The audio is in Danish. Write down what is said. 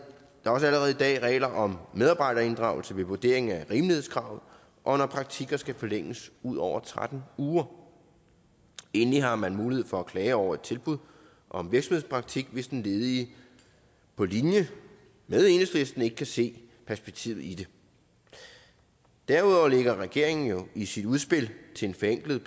også allerede i dag regler om medarbejderinddragelse ved vurderingen af rimelighedskravet og når praktikker skal forlænges ud over tretten uger endelig har man mulighed for at klage over et tilbud om virksomhedspraktik hvis den ledige på linje med enhedslisten ikke kan se perspektivet i det derudover lægger regeringen jo i sit udspil til en forenklet